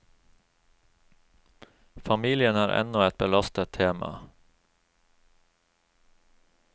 Familien er ennå et belastet tema.